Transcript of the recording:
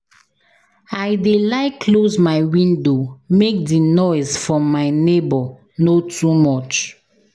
I dey like close my window make di noise from my nebor no too much.